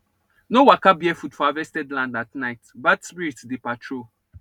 no waka barefoot for harvested land at night bad spirits dey patrol